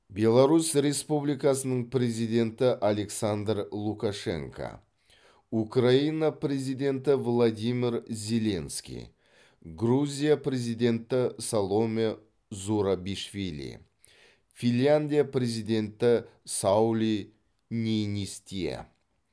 беларусь республикасының президенті александр лукашенко украина президенті владимир зеленский грузия президенті саломе зурабишвили финляндия президенті саули ниинистие